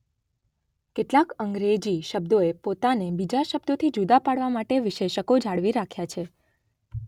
કેટલાક અંગ્રેજી શબ્દોએ પોતાને બીજા શબ્દોથી જુદા પાડવા માટે વિશેષકો જાળવી રાખ્યા છે.